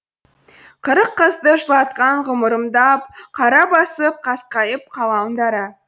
қырық қызды жылатқан ғұмырымды ап қара басып қасқайып қалам дара